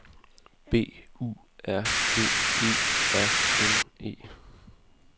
B U R G E R N E